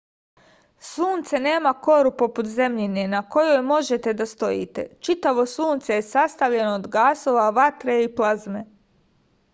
sunce nema koru poput zemljine na kojoj možete da stojite čitavo sunce je sastavljeno od gasova vatre i plazme